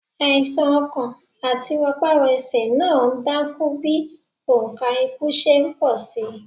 Àìsà̀n ọkàn àti rọparọsẹ̀ náà ń dákún bí òǹkà ikú ṣe ń pọ̀ síi.